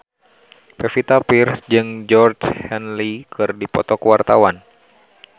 Pevita Pearce jeung Georgie Henley keur dipoto ku wartawan